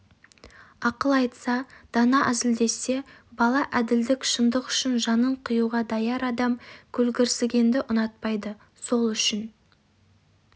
ақыл айтса дана әзілдессе бала әділдік шындық үшін жанын қиюға даяр адам көлгірсігенді ұнатпайды сол үшін